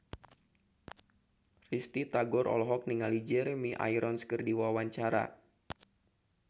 Risty Tagor olohok ningali Jeremy Irons keur diwawancara